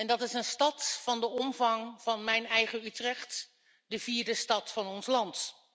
Dat is een stad van de omvang van mijn eigen Utrecht, de vierde stad van ons land.